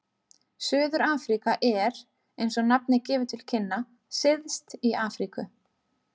Suður-Afríka er, eins og nafnið gefur til kynna, syðst í Afríku.